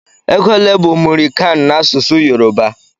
Égo olé bu mụri kan na-asụsụ Yoruba?